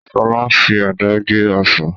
Sọlá fi àdá gé Ọsàn